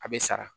A bɛ sara